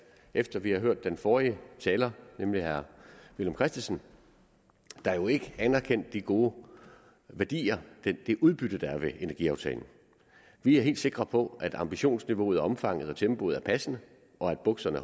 efter vi har hørt den forrige taler nemlig herre villum christensen der jo ikke anerkendte de gode værdier det udbytte der er ved energiaftalen vi er helt sikre på at ambitionsniveauet omfanget og tempoet er passende og at bukserne